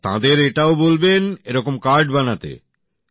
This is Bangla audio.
আর তাঁদের এটাও বলবেন এরকম কার্ড বানাতে